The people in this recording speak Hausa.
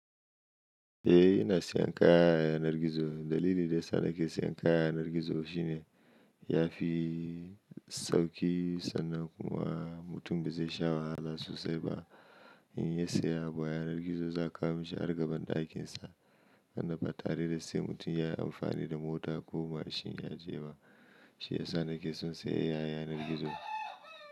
Eh ina siyan kaya yanar gizo. Dalili da ya sa nake siyan kaya a yanar gizo shine ya fi sauki sannan kuma mutum bai zai sha wahala sosai ba in ya siya abu a yanar gizo za a kawo mishi har gaban ɗakin sa. Nan ba tare da sai mutum ya yi amfani da mota ko mashin ya je ba. Shi ya sa nake son siya kaya yanar gizo.